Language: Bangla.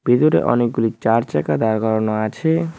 ভিতরে অনেকগুলি চার চাকা দাঁড় করানো আছে।